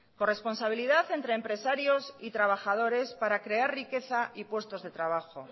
corresponsabilidad entre empresarios y trabajadores para crear riqueza y puestos de trabajo